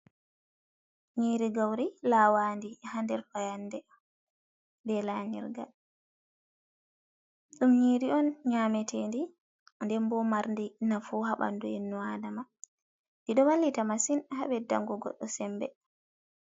Nyiri gauri lawadi ha nder fayande be layirgal, ɗum nyiri on nyametedi, den bo mardi nafu haɓandu innu adama diɗo wallita masin habeddango goɗɗo sembe.